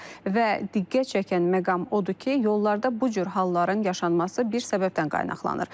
Və diqqət çəkən məqam odur ki, yollarda bu cür halların yaşanması bir səbəbdən qaynaqlanır.